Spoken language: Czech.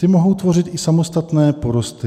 Ty mohou tvořit i samostatné porosty."